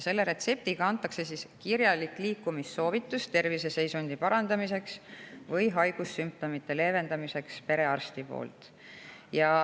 Selle retseptiga antakse perearsti poolt kirjalik liikumissoovitus terviseseisundi parandamiseks või haigussümptomite leevendamiseks.